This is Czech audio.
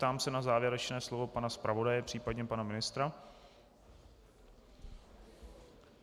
Ptám se na závěrečné slovo pana zpravodaje, případně pana ministra.